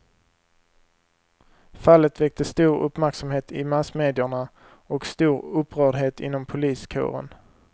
Fallet väckte stor uppmärksamhet i massmedierna och stor upprördhet inom poliskåren.